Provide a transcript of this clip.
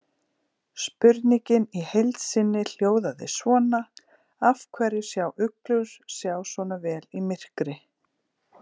Spurningin í heild sinni hljóðaði svona: Af hverju sjá uglur sjá svona vel í myrkri?